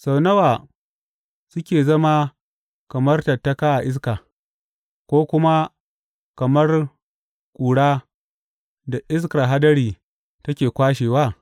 Sau nawa suke zama kamar tattaka a iska, ko kuma kamar ƙura da iskar hadari take kwashewa?